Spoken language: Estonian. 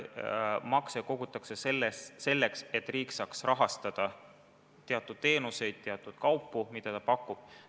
Makse kogutakse selleks, et riik saaks rahastada teatud teenuseid, teatud kaupu, mida ta pakub.